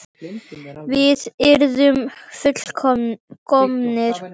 Við yrðum full- komnir.